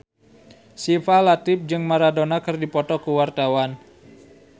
Syifa Latief jeung Maradona keur dipoto ku wartawan